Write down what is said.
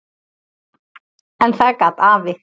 En það gat afi.